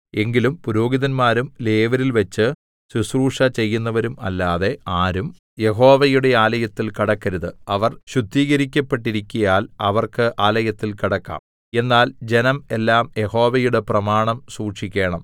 എങ്കിലും പുരോഹിതന്മാരും ലേവ്യരിൽവെച്ച് ശുശ്രൂഷ ചെയ്യുന്നവരും അല്ലാതെ ആരും യഹോവയുടെ ആലയത്തിൽ കടക്കരുത് അവർ ശുദ്ധീകരിക്കപ്പെട്ടരിക്കയാൽ അവർക്ക് ആലയത്തിൽ കടക്കാം എന്നാൽ ജനം എല്ലാം യഹോവയുടെ പ്രമാണം സൂക്ഷിക്കേണം